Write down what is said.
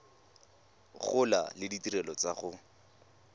gola le ditirelo tsa go